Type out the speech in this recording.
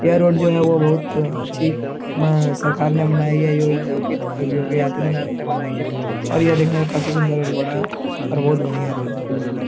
यह रोड जो है वो बहुत अच्छी मह सरकार ने बनाई है। योगी आदित्यनाथ ने बनाई है और यह देखने में काफी सुंदर और बड़ा है और बहुत बढ़िया रोड है कुल मिला --